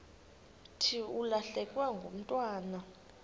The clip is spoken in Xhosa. thi ulahlekelwe ngumntwana